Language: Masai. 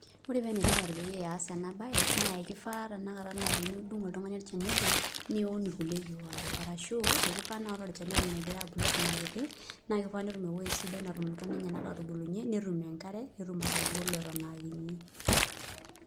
Ore pee ene tipat piiyas ena baye naake kifaa tenakata naa tenidung' oltung'ani olchani obo niun irkulie keek waare. Arashuu aake ifaa naa ore olchani egira abulu eton aa kiti naake ifaa netum ewoi sidai natum ntona enyenak aatubulunye, netum enkare, netum atagolo eton aa kinyi.